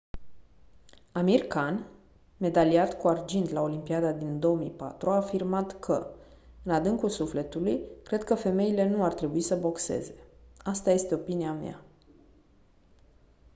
amir khan medaliat cu argint la olimpiada din 2004 a afirmat că: «în adâncul sufletului cred că femeile nu ar trebui să boxeze. asta este opinia mea».